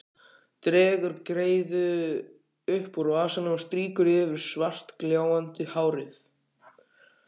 Dregur greiðu upp úr vasanum og strýkur yfir svartgljáandi hárið.